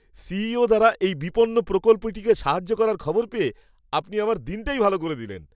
CEO দ্বারা এই বিপন্ন প্রকল্পটিকে সাহায্য করার খবর পেয়ে আপনি আমার দিনটাই ভাল করে দিলেন!